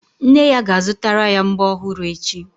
Nne ya ga-azutara ya mbọ́ ọhụrụ echi.